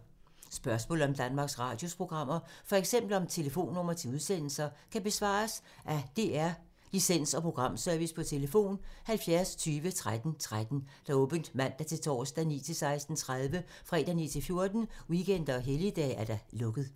Spørgsmål om Danmarks Radios programmer, f.eks. om telefonnumre til udsendelser, kan besvares af DR Licens- og Programservice: tlf. 70 20 13 13, åbent mandag-torsdag 9.00-16.30, fredag 9.00-14.00, weekender og helligdage: lukket.